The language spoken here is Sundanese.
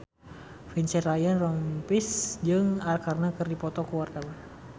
Vincent Ryan Rompies jeung Arkarna keur dipoto ku wartawan